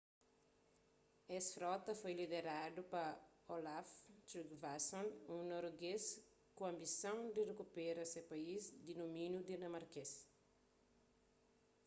es frota foi lideradu pa olaf trygvasson un noruegês ku anbisons di rikupera se país di dumíniu dinamarkês